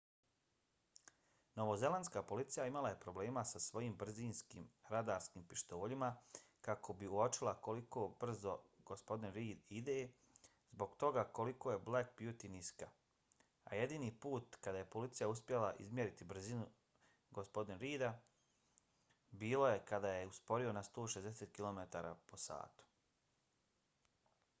novozelandska policija imala je problema sa svojim brzinskim radarskim pištoljima kako bi uočila koliko brzo g. reid ide zbog toga koliko je black beauty niska a jedini put kada je policija uspjela izmjeriti brzinu g. reida bilo je kad je usporio na 160 km/h